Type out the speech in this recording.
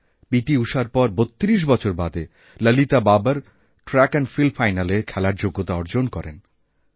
পিটিঊষার পর ৩২ বছর বাদে ললিতাবাবর ট্র্যাক অ্যাণ্ড ফিল্ড ফাইনালে খেলার যোগ্যতা অর্জন করেন